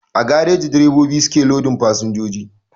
A gareji direbobi su ke lodin fasinjoji